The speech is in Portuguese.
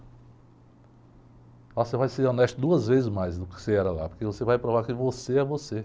Lá você vai ser honesto duas vezes mais do que você era lá, porque você vai provar que você é você.